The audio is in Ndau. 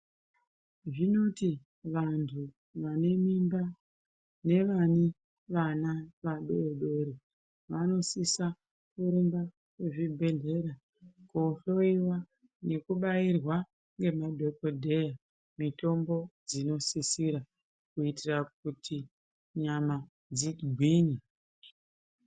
Zvinoti vantu vane mimba nevane vana vadori-dori vanosisa kuenda kuzvibhedhlera kohloyiwa nekubairwa ngemadhokodheya mitombo dzinosisira kuitira kuti nyama dzigwinye.